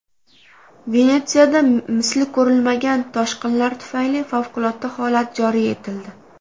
Venetsiyada misli ko‘rilmagan toshqinlar tufayli favqulodda holat joriy etildi .